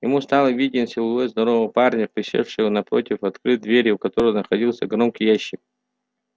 ему стал виден силуэт здорового парня присевшего напротив открыт двери у которой находился громкий ящик